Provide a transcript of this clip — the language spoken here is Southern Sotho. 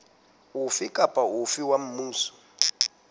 ofe kapa ofe wa mmuso